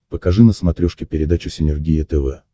покажи на смотрешке передачу синергия тв